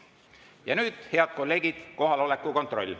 Ja nüüd, head kolleegid, kohaloleku kontroll.